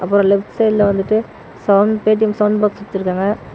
அப்பறம் லெஃப்ட் சைடுல வந்துட்டு சவுண்ட் பேடிம் சவுண்ட் பாக்ஸ் வச்சிருக்காங்க.